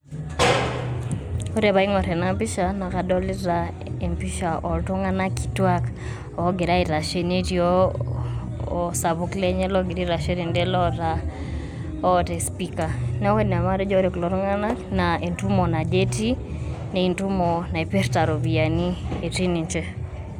Ore paa aing'orr ena pisha naa kadolita iktung'anak kitwaak oogira aitashe netii oo [pasue] osapuk lenye logira aitashe tende loota esipika, neeku ina paatejo orre kulo tung'anak naa entumo naje etii naa entumo naipirta iropiyiani etii ninche.